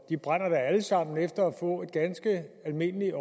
de brænder da alle sammen efter at få et ganske almindeligt